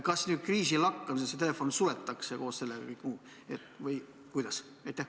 Kas kriisi lakkamisel see telefon suletakse või kuidas?